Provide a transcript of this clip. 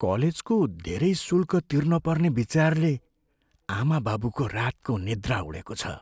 कलेजको धेरै शुल्क तिर्ने पर्ने विचारले आमाबाबुको रातको निन्द्रा उडेको छ।